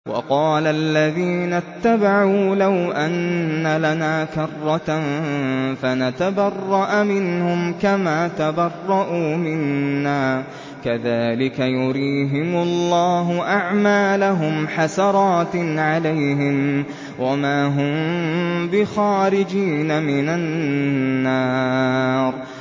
وَقَالَ الَّذِينَ اتَّبَعُوا لَوْ أَنَّ لَنَا كَرَّةً فَنَتَبَرَّأَ مِنْهُمْ كَمَا تَبَرَّءُوا مِنَّا ۗ كَذَٰلِكَ يُرِيهِمُ اللَّهُ أَعْمَالَهُمْ حَسَرَاتٍ عَلَيْهِمْ ۖ وَمَا هُم بِخَارِجِينَ مِنَ النَّارِ